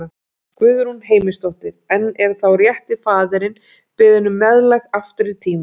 Guðrún Heimisdóttir: En er þá rétti faðirinn beðinn um meðlag aftur í tímann?